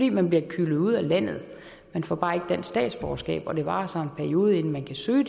at man bliver kylet ud af landet man får bare ikke dansk statsborgerskab og det varer så en periode inden man kan søge